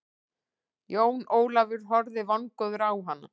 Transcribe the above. Jón Ólafur horfði vongóður á hana.